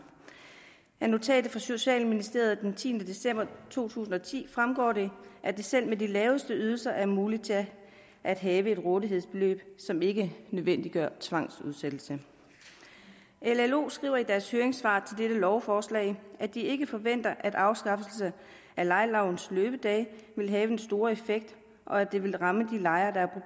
af notatet fra socialministeriet den tiende december to tusind og ti fremgår det at det selv med de laveste ydelser er muligt at have et rådighedsbeløb som ikke nødvendiggør tvangsudsættelse llo skriver i deres høringssvar til dette lovforslag at de ikke forventer at afskaffelse af lejelovens løbedage vil have den store effekt og at det vil ramme de lejere der